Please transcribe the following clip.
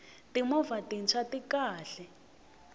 timovha tintshwa ti kahle